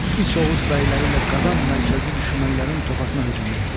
İç oğuz bəyləri ilə qazan mərkəzdə düşmənlərin topasına hücum etdi.